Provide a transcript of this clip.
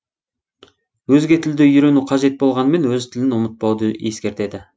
өзге тілді үйрену қажет боғланымен өз тілін ұмытпауды ескертеді